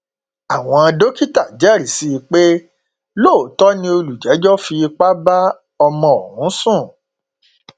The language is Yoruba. àwọn dókítà jẹrìí sí i pé lóòótọ ni olùjẹjọ fipá bá ọmọ ọhún sùn